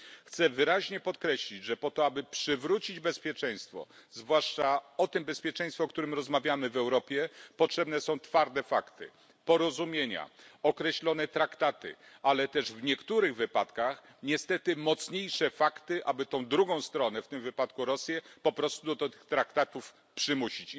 Chcę wyraźnie podkreślić, że po to, aby przywrócić bezpieczeństwo, zwłaszcza to bezpieczeństwo, o którym rozmawiamy w Europie, potrzebne są twarde fakty, porozumienia, określone traktaty, ale też w niektórych wypadkach niestety mocniejsze fakty, aby tę drugą stronę w tym wypadku Rosję po prostu do tych traktatów przymusić.